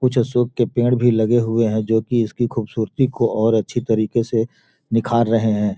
कुछ अशोक के पेड़ भी लगे हुए हैं जो कि इसकी खूबसूरती को और अच्छी तरीके से निखार रहे हैं।